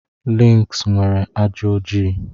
Links nwere ajị oji.